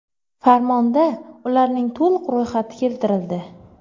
Farmonda ularning to‘liq ro‘yxati keltirildi.